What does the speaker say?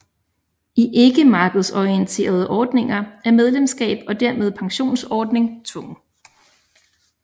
I ikkemarkedsorienterede ordninger er medlemskab og dermed pensionsordning tvungen